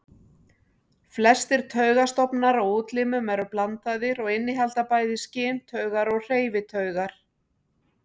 Flestir taugastofnar á útlimum eru blandaðir og innihalda bæði skyntaugar og hreyfitaugar.